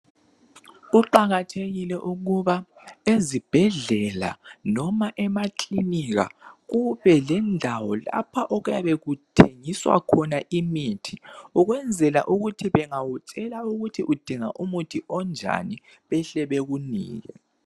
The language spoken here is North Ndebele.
Kuqakathekile ukuba ezibhedlela noma emaklinika kube lendawo lapho okuyabe kuthengiswa khona imithi ukwenzela ukuthi bengakutshela ukuthi udinga umuthi onjani behle bekunike